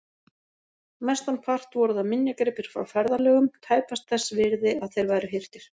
Mestan part voru það minjagripir frá ferðalögum, tæpast þess virði að þeir væru hirtir.